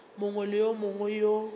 mongwe le yo mongwe yo